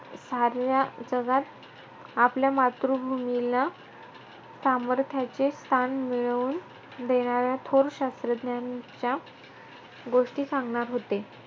साऱ्या जगात आपल्या मातृभूमीला सामर्थ्याचे स्थान मिळवून देणाऱ्या थोर शास्त्रज्ञांच्या गोष्टी सांगणार होते.